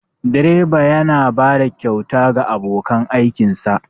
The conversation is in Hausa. direba yana bada kyauta ga abokan aikinsa